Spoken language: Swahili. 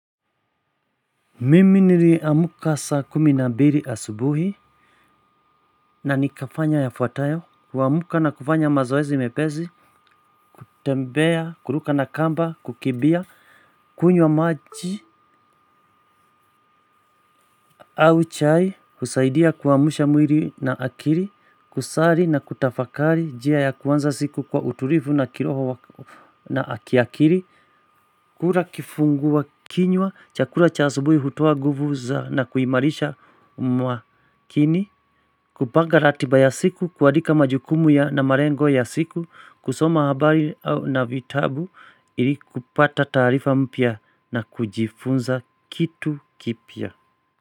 Mimi niliamka saa kumi na mbili asubuhi. Nanikafanya yafuatayo, kuamka na kufanya mazoezi mepesi. Tembea, kuruka na kamba, kukimbia. Kunywa maji, au chai husaidia kuamsha mwili na akili, kusali na kutafakari njia ya kuanza siku kwa utulivu na kiroho na kiakili. Kula kifungua kinywa chakula cha asubuhi hutoa nguvu za na kuimarisha mwakini. Kupanga ratiba ya siku, kuandika majukumu ya na marengo ya siku, kusoma habari au na vitabu ili kupata taarifa mpya na kujifunza kitu kipya.